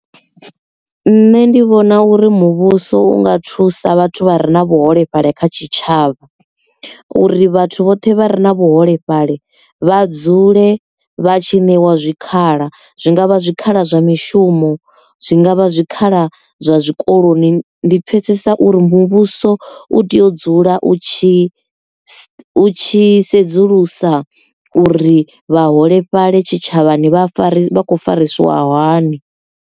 Nṋe ndi vhona uri muvhuso unga thusa vhathu vha re na vhuholefhali kha tshitshavha uri vhathu vhoṱhe vha re na vhuholefhali vha dzule vha tshi ṋewa zwikhala zwi ngavha zwikhala zwa mishumo zwi ngavha zwikhala zwa zwikoloni ndi pfesesa uri muvhuso u tea u dzula u tshi tshi sedzulusa uri vhaholefhali tshitshavhani vha fariwi vha khou farisiwa hani.